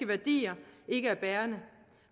værdier ikke er bærende